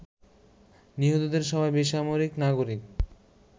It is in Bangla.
নিহতদের সবাই বেসামরিক নাগরিক।